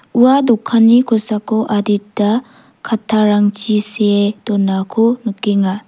ua dokani kosako adita katarangchi see donako nikenga.